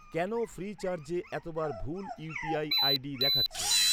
কেন ফ্রিচার্জে এতবার ভুল ইউ.পি.আই আই.ডি দেখাচ্ছে?